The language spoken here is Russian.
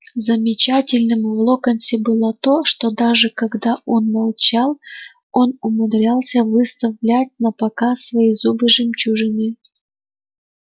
замечательным в локонсе было то что даже когда он молчал он умудрялся выставлять напоказ свои зубы-жемчужины